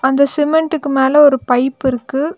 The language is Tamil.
அந்த சிமெண்டுக்கு மேல ஒரு பைப் இருக்கு.